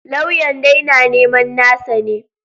Lauyan dai na neman nasa ne.